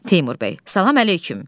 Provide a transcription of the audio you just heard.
Teymur bəy, salam əleyküm.